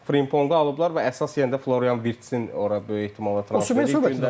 Frimpongu alıblar və əsas yenə də Florian Wirtz-in ora böyük ehtimalla transferi gündəmdədir.